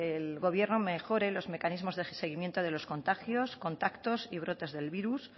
el gobierno mejore los mecanismos de seguimiento de los contagios contactos y brotes del virus